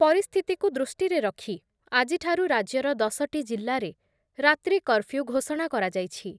ପରିସ୍ଥିତିକୁ ଦୃଷ୍ଟିରେ ରଖି ଆଜିଠାରୁ ରାଜ୍ୟର ଦଶଟି ଜିଲ୍ଲାରେ ରାତ୍ରି କର୍ଫ୍ୟୁ ଘୋଷଣା କରାଯାଇଛି ।